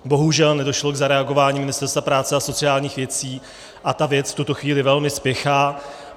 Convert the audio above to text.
Bohužel nedošlo k zareagování Ministerstva práce a sociálních věcí, a ta věc v tuto chvíli velmi spěchá.